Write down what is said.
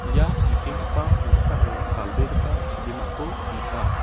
ia nikengipa noksao dal·begipa chibimako nika.